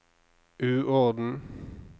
uorden